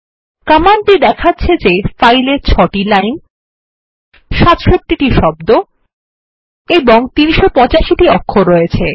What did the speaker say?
কমান্ডটি দেখাচ্ছে যে ফাইল এ ৬ টি লাইন ৬৭ টি শব্দ এবং ৩৮৫ টি অক্ষর আছে